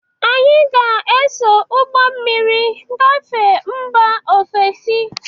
Anyị ga-eso ụgbọ mmiri gafe mba ofesi.